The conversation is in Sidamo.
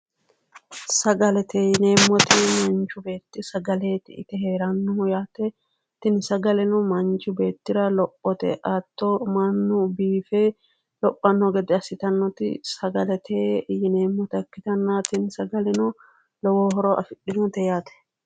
sagalete yineemmoti manchi beetti sagaleeti ite heerannohu tini sagaleno manchi beettira lophote hatto mannu biife lophanno gede assitannota sagalete yinannita ikkitanna tini sagaleno lowo horo afidhinote yaate.